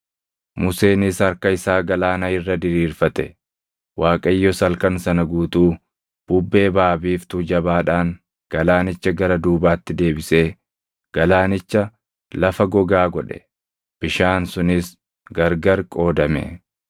Museenis harka isaa galaana irra diriirfate; Waaqayyos halkan sana guutuu bubbee baʼa biiftuu jabaadhaan galaanicha gara duubaatti deebisee galaanicha lafa gogaa godhe. Bishaan sunis gargari qoodame;